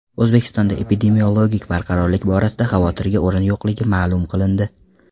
O‘zbekistonda epidemiologik barqarorlik borasida xavotirga o‘rin yo‘qligi ma’lum qilindi .